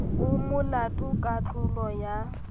o molato ka tlolo ya